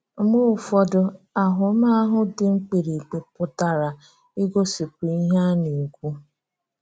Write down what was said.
Mgbe ụfọdụ, àhụ́màhụ́ dị mkpíríkpí pụtara igosipụta ihe a na-ekwu.